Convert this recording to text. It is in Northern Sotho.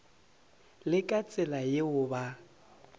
le ka tsela yeo ba